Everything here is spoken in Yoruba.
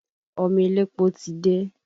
Ọmọ elépo ti dé